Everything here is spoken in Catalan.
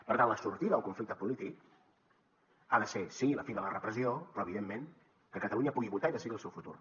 per tant la sortida al conflicte polític ha de ser sí la fi de la repressió però evidentment que catalunya pugui votar i decidir el seu futur